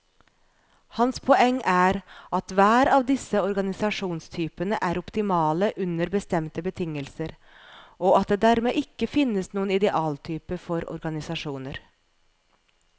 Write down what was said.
Hans poeng er at hver av disse organisasjonstypene er optimale under bestemte betingelser, og at det dermed ikke finnes noen idealtype for organisasjoner.